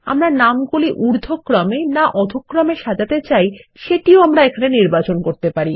আমরা নামগুলি ঊর্ধক্রমে না অধহ্ক্রমে সাজাতে চাই সেটিও আমরা নির্বাচন করতে পারি